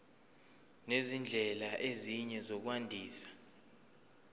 nezindlela ezinye zokwandisa